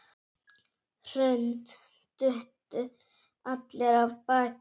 Hrund: Duttu allir af baki?